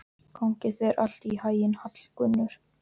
Gangi þér allt í haginn, Hallgunnur.